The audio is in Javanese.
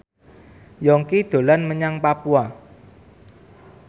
Yongki dolan menyang Papua